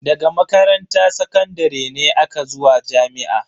Daga makaranta sakandare ne aka zuwa jami'a.